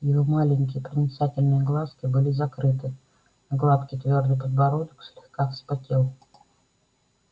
его маленькие проницательные глазки были закрыты а гладкий твёрдый подбородок слегка вспотел